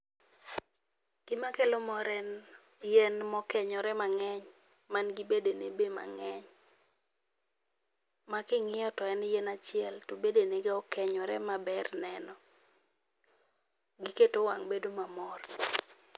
Gima kelo mor en yien mokenyore mang'eny, man gi bedene be mang'eny making'iyo to en yien achiel to bedene be okenyore ma ber neno. Giketo wang' bedo mamor.